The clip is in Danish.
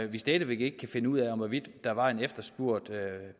vi stadig væk ikke kan finde ud af hvorvidt der var en efterspurgt